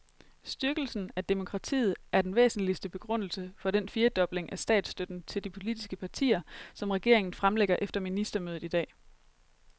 Styrkelse af demokratiet er den væsentligste begrundelse for den firedobling af statsstøtten til de politiske partier, som regeringen fremlægger efter ministermødet i dag.